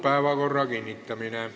Päevakorra kinnitamine.